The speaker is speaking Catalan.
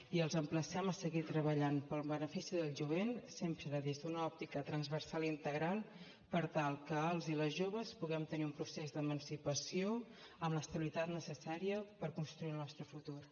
i els emplacem a seguir treballant pel benefici del jovent sempre des d’una òptica transversal i integral per tal que els i les joves puguem tenir un procés d’emancipació amb l’estabilitat necessària per construir el nostre futur